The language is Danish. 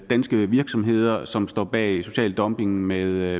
danske virksomheder som står bag social dumping med